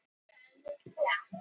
Ansans vandræði sagði hann.